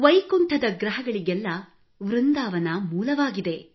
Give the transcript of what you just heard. ವೈಕುಂಠದ ಗ್ರಹಗಳಿಗೆಲ್ಲ ವೃಂದಾವನ ಮೂಲವಾಗಿದೆ